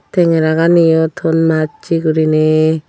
tengera ganiyo ton massey guriney.